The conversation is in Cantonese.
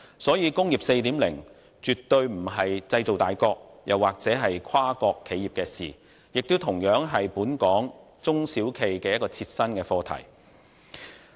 所以，"工業 4.0" 絕對不是製造大國或跨國企業的事，也同樣是本港中小企的切身課題。